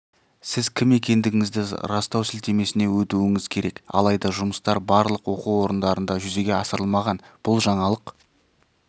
сіз кім екендігіңізді растау сілтемесіне өтуіңіз керек алайда жұмыстар барлық оқу орындарында жүзеге асырылмаған бұл жаңалық